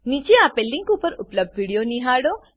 નીચે આપેલ લીંક પર ઉપલબ્ધ વિડીયો નિહાળો